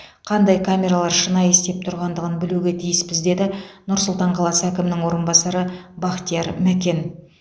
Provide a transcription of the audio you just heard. қандай камералар шынайы істеп тұрғандығын білуге тиіспіз деді нұр сұлтан қаласы әкімінің орынбасары бақтияр мәкен